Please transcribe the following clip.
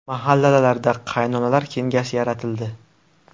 Mahallalarda qaynonalar kengashi yaratildi.